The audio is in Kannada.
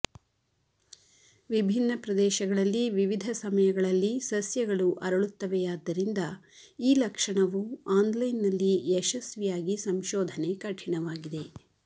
ವಿಭಿನ್ನ ಪ್ರದೇಶಗಳಲ್ಲಿ ವಿವಿಧ ಸಮಯಗಳಲ್ಲಿ ಸಸ್ಯಗಳು ಅರಳುತ್ತವೆಯಾದ್ದರಿಂದ ಈ ಲಕ್ಷಣವು ಆನ್ಲೈನ್ನಲ್ಲಿ ಯಶಸ್ವಿಯಾಗಿ ಸಂಶೋಧನೆ ಕಠಿಣವಾಗಿದೆ